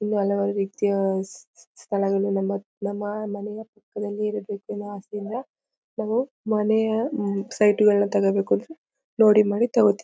ಇಲ್ಲಿ ಹಲವಾರು ರೀತಿಯ ಸ ಸ ಸ ಸ್ಥಳಗಳು ನಮ್ಮ ನಮ್ಮ ಮನೆಯ ಪಕ್ಕದಲ್ಲಿರಬೇಕು ಅನ್ನೋ ಆಸೆಯಿಂದ ನಾವು ಮನೆಯ ಅಹ್ಮ್ಮ್ ಸೈಟ ಗಳು ತೊಗೊಬೇಕು ಅಂದ್ರೆ ನೋಡಿ ಮಾಡಿ ತೊಗೋತೀವಿ.